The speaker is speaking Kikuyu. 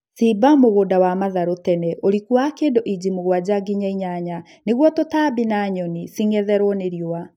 Shimba mũgũnda wa matharũ tene ũriku wa kĩndũ inji mũgwanja nginya inyanya nĩguo tũtambi na nyoni cing'etherwo ni riũa